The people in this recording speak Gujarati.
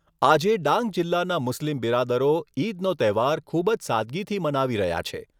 આજે ડાંગ જિલ્લાના મુસ્લિમ બિરાદરો ઈદનો તહેવાર ખૂબજ સાદગીથી મનાવી રહ્યા છે.